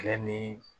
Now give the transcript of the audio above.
Kɛlɛ ni